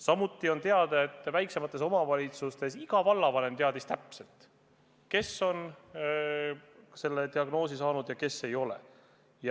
Samuti on teada, et väiksemates omavalitsusüksustes teadis iga vallavanem täpselt, kes kohalikest on selle diagnoosi saanud ja kes ei ole.